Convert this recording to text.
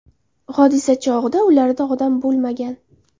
Hodisa chog‘ida ularda odam bo‘lmagan.